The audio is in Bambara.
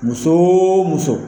Muso o muso